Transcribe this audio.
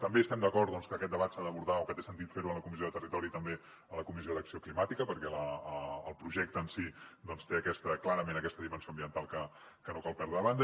també estem d’acord doncs que aquest debat s’ha d’abordar o que té sentit fer lo a la comissió de territori i també a la comissió d’acció climàtica perquè el projecte en si té clarament aquesta dimensió ambiental que no cal deixar de banda